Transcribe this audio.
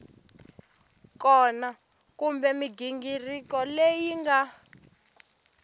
kona kumbe mighingiriko leyi nga